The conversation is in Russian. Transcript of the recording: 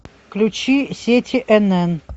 включи сети нн